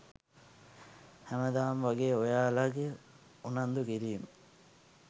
හැමදාම වගේ ඔයාලගේ උනන්දුකිරීම්